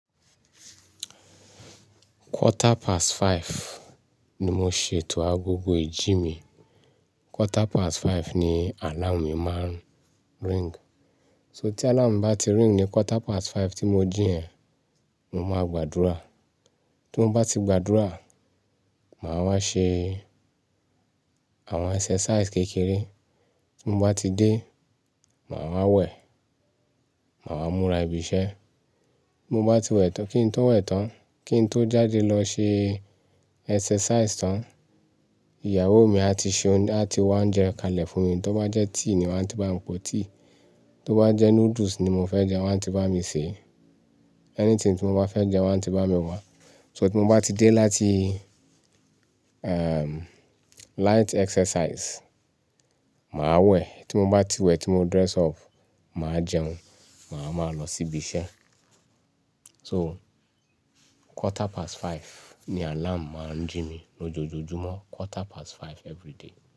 Quarter past five ni mo ṣètò agogo ìjì mi. Quarter past five ni alarm mi máa ring. So tí alarm bá ti ring ní quarter past five tí mo jí yen, mo máa gbàdúrà. Tí mo bá ti gbàdúrà, màá wá ṣe àwọn exercise kékeré. Tí mo bá ti dé, màá wá wẹ̀, màá wá múra ibi iṣẹ́. Bi mo bá ti wẹ̀ tán, kí n tó wẹ̀ tán, kí n tó jáde lọ ṣe exercise tán, ìyàwó mi a ti ṣe oúnjẹ, a ti wá ounjẹ kalẹ̀ fún mi. Tí ó bá jẹ́ tíì ni wọ́n ti bá mi po tíì. Tí ó bá jẹ́ noodles ni mo fẹ́ jẹ wọ́n ti bá mi sè é. Anything tí mo bá fẹ́ jẹ wọ́n ti bá mi wá. So tí mo bá ti dé láti, light exercise, màá wẹ̀. Tí mo bá ti wẹ̀, tí mo dress up, màá jẹun, màá máa lọ sí ibi iṣẹ́. So quarter past five ni alarm máa ń jí mi lójoojúmọ́. Quarter past five everyday.